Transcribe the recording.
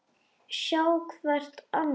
Sjá hvert annað.